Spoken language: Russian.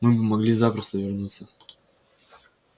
мы бы могли запросто вернуться